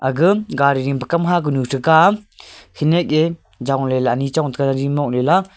gam gari jing ke kam ha kunu cheka am khenek a jong le ley anyi chong taga jaji mok le la.